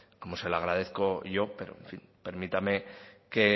como se lo agradezco yo pero en fin permítame que